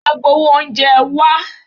Agbawo oúnjẹ, wá!